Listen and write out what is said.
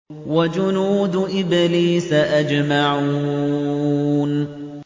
وَجُنُودُ إِبْلِيسَ أَجْمَعُونَ